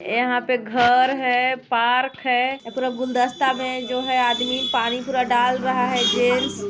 यहाँ पे घर है पार्क है ये पुरा गुलदस्ता में जो है आदमी पानी पूरा डाल रहा है गैस --